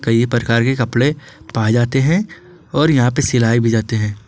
कई प्रकार के कपड़े पाए जाते हैं और यहां पर सिलाई भी जाते हैं।